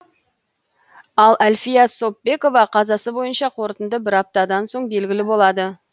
ал әльфия сопбекова қазасы бойынша қорытынды бір аптадан соң белгілі болады